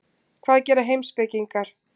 Hvað gera heimspekingar?